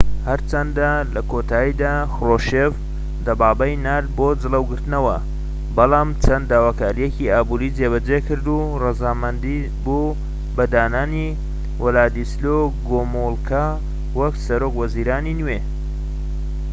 هەرچەندە لە کۆتاییدا خروشێف دەبابەی نارد بۆ جڵەوگرتنەوە بەڵام چەند داواکاریەکی ئابوریی جێبەجێکرد و ڕەزامەند بوو بە دانانی ولادیسلۆ گۆمولکا وەکو سەرۆک وەزیرانی نوێ